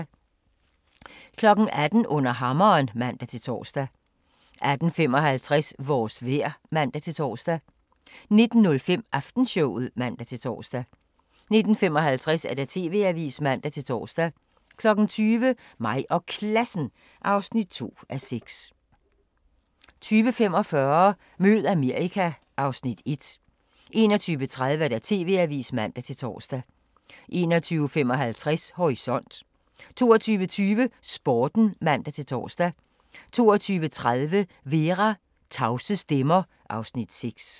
18:00: Under hammeren (man-tor) 18:55: Vores vejr (man-tor) 19:05: Aftenshowet (man-tor) 19:55: TV-avisen (man-tor) 20:00: Mig og Klassen (2:6) 20:45: Mød Amerika (Afs. 1) 21:30: TV-avisen (man-tor) 21:55: Horisont 22:20: Sporten (man-tor) 22:30: Vera: Tavse stemmer (Afs. 6)